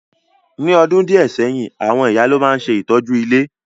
Ní odùn díẹ̀ sẹ́yìn, àwon ìyá lo ma n se ìtọ́jú ilé.